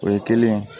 O ye kelen ye